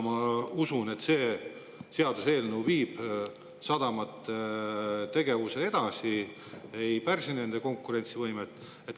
Ma usun, et ka see seaduseelnõu viib sadamate tegevust edasi, ei pärsi nende konkurentsivõimet.